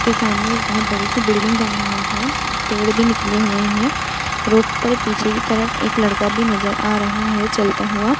इसके सामने एक बहोत बड़ी सी बिल्डिंग बनी हुई है। पेड़ भी निकले हुए हैं। रोड पर पीछे तरफ एक लड़का भी नजर आ रहा है चलता हुआ।